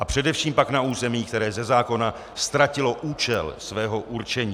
A především pak na území, které ze zákona ztratilo účel svého určení.